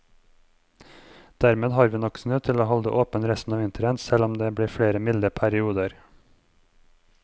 Dermed har vi nok snø til å holde åpent resten av vinteren, selv om det blir flere milde perioder.